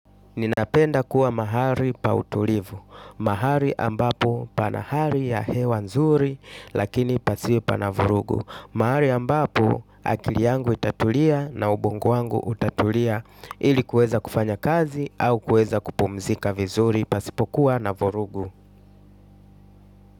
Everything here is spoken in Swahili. Ninapenda kuwa mahali pa utulivu. Mahali ambapo pana hali ya hewa nzuri lakini pasiwe pana vurugu. Mahali ambapo akili yangu itatulia na ubungo wangu utatulia ili kuweza kufanya kazi au kueza kupumzika vizuri pasipokuwa na vurugu.